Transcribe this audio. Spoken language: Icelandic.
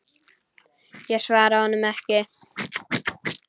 Ég svaraði honum ekki.